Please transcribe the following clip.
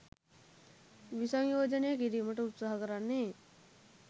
විසංයෝජනය කිරීමට උත්සාහ කරන්නේ